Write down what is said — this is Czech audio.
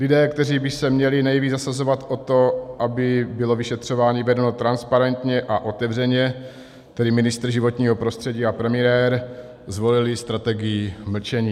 Lidé, kteří by se měli nejvíc zasazovat o to, aby bylo vyšetřování vedeno transparentně a otevřeně, tedy ministr životního prostředí a premiér, zvolili strategii mlčení.